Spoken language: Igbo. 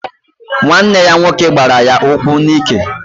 Nwanne ya nwoke gbara ya ụkwụ n'ike.